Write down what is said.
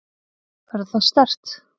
Verður það sterkt?